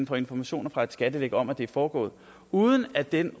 får informationer fra et skattely om at det er foregået uden at den